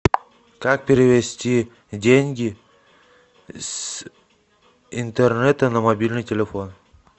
как перевести деньги с интернета на мобильный телефон